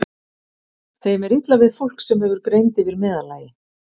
Þeim er illa við fólk, sem hefur greind yfir meðallagi.